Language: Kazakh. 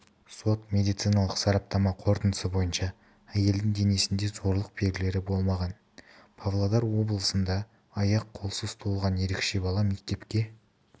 сот-медициналық сараптама қорытындысы бойынша әйелдің денесінде зорлық белгілері болмаған павлодар облысында аяқ-қолсыз туылған ерекше бала мектепке